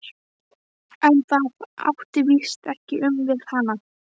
En það átti víst ekki við um hana.